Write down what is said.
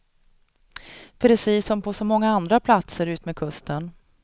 Precis som på så många andra platser utmed kusten.